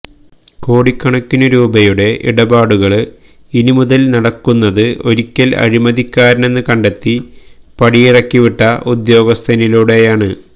കോടിക്കണക്കിനു രൂപയുടെ ഇടപാടുകള് ഇനി മുതല് നടക്കുന്നത് ഒരിക്കല് അഴിമതിക്കാരനെന്ന് കണ്ടെത്തി പടിയിറക്കിവിട്ട ഉദ്യോഗസ്ഥനിലൂടെയാണ്